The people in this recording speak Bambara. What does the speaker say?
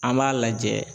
An b'a lajɛ